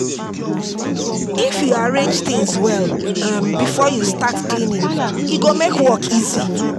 If you arrange things well before um you start cleaning, e go make work easy.